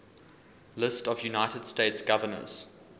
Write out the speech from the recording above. lists of united states governors